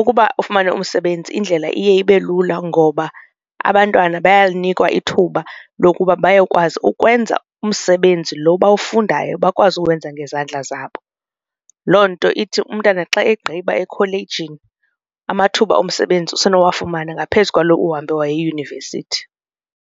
ukuba ufumana umsebenzi indlela iye ibe lula ngoba abantwana bayalinikwa ithuba lokuba bayokwazi ukwenza umsebenzi lo bawufundayo bakwazi ukwenza ngezandla zabo. Loo nto ithi umntana xa egqiba ekholejini amathuba omsebenzi usenowafumana ngaphezu kwaloo uhambe waya eyunivesithi.